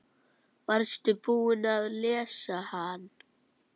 Varstu búinn að lesa hann?